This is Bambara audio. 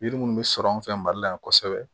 Yiri munnu bɛ sɔrɔ an fɛ mali la yan kosɛbɛ